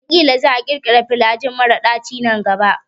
Ƙila za a ƙirkira flajil mara daci nan gaba.